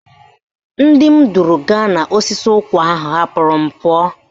Ndị m duru gaa n'osisi nkwụ ahụ hapụrụ m pụọ